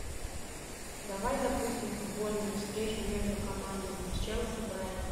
давай запустим футбольную встречу между командами челси брайтон